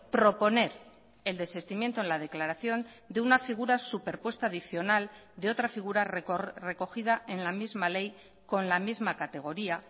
proponer el desistimiento en la declaración de una figura superpuesta adicional de otra figura recogida en la misma ley con la misma categoría